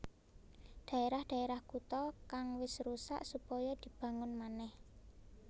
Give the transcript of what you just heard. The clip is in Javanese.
Dhaerah dhaerah kutha kang wis rusak supaya dibangun manèh